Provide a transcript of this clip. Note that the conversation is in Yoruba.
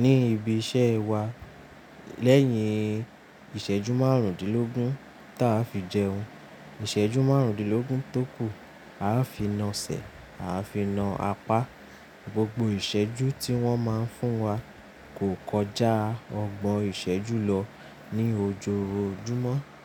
Ni ibi iṣẹ́ wa lẹ́yìn ìṣẹ́jú márùndínlógún ta fi jẹun, ìṣẹ́jú márùndínlógún tó kù a fi na sẹ̀, a fi na apá, gbogbo ìṣẹ́jú tí wọ́n máa ń fún wa kò kọjá ọgbọ̀n ìṣẹ́jú lọ ní ojoojúmọ́